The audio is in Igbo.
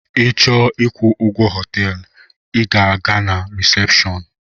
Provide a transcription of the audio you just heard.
Ị chọọ ịkwụ ụgwọ họteelu I gaa na resepshọọnu.